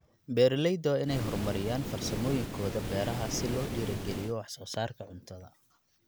Beeraleyda waa inay horumariyaan farsamooyinkooda beeraha si loo dhiirrigeliyo wax soo saarka cuntada.